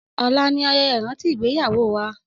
Ọla ni ayẹyẹ ìrántí ìgbéyàwó wa